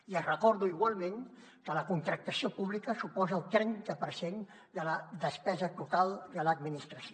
i els recordo igualment que la contractació pública suposa el trenta per cent de la despesa total de l’administració